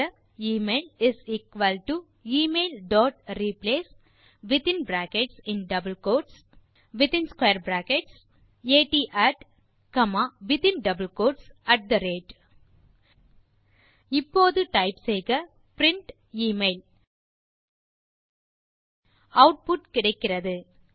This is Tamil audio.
டைப் செய்க எமெயில் இஸ் எக்குவல் டோ emailரிப்ளேஸ் பின் in brackets double quotes at square brackets comma பின் மீண்டும் இன் ஸ்க்வேர் பிராக்கெட் இப்போது டைப் செய்க பிரின்ட் எமெயில் ஆட்புட் கிடைக்கிறது